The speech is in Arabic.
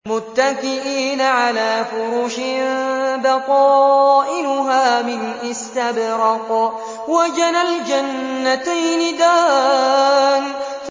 مُتَّكِئِينَ عَلَىٰ فُرُشٍ بَطَائِنُهَا مِنْ إِسْتَبْرَقٍ ۚ وَجَنَى الْجَنَّتَيْنِ دَانٍ